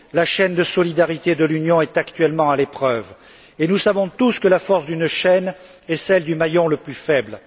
La chaîne de solidarité de l'Union est actuellement à l'épreuve, et nous savons tous que la force d'une chaîne est celle du maillon le plus faible.